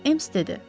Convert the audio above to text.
Ems dedi.